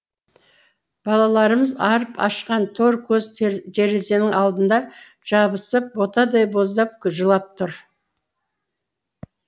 балаларымыз арып ашқан тор көз терезенің алдында жабысып ботадай боздап жылап тұр